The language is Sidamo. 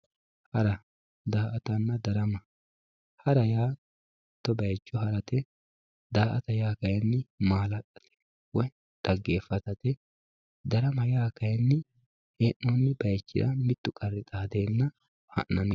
Hara, daa'atanna darama, hara yaa mito bayicho harate, daa'ata kayinni maa'lalate woyi xageefatate, darama yaa kayini hee'nonni bayichinni mitu qari iilenna hanani